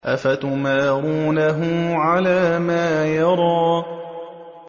أَفَتُمَارُونَهُ عَلَىٰ مَا يَرَىٰ